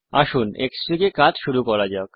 আসুন Xfig এ কাজ শুরু করা যাক